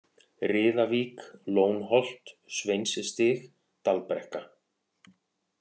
Riðavík, Lónholt, Sveinsstig, Dalbrekka